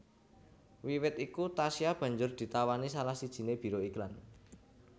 Wiwit iku Tasya banjur ditawani salah sijiné biro iklan